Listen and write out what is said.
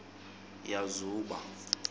yazuba